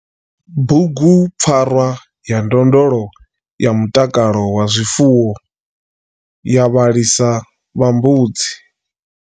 Bughupfarwa ya ndondolo ya mutakalo wa zwifuwo ya vhalisa vha mbudzi.